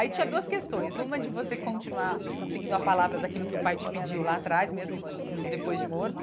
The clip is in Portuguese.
Aí tinha duas questões, uma de você continuar seguindo a palavra daquilo que o pai te pediu lá atrás, mesmo depois de morto.